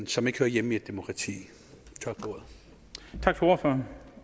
som ikke hører hjemme i et demokrati tak for